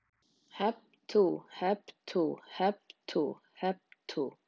Skóflustunga að nýju hjúkrunarheimili